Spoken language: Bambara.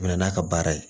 Mɛ na n'a ka baara ye